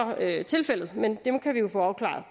tilfældet men det kan vi jo få afklaret